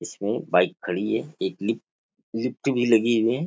इसमें बाइक खड़ी है एक लिफ्ट भी लगी हुई हैं।